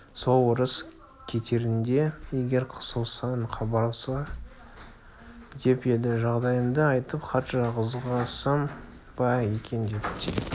сол орыс кетерінде егер қысылсаң хабарла деп еді жағдайымды айтып хат жазғызсам ба екен деп те